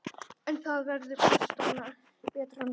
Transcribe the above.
En það verður betra næst.